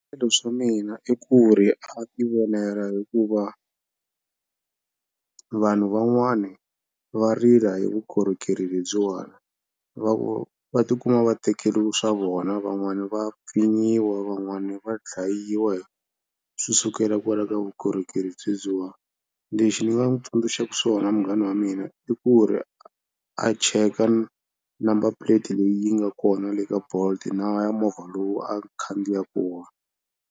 mina i ku ri a tivonela hikuva vanhu van'wani va rila hi vukorhokeri lebyiwani. va tikuma va tekeriwa swa vona, van'wani va pfinyiwa, van'wani va dlayiwa swi sukela kwala ka vukorhokeri byebyiwa. Lexi ni nga n'wi tsundzuxaka swona munghana wa mina i ku ri a a cheka number plate leyi yi nga kona le ka bolt na ya movha lowu a khandziya kona.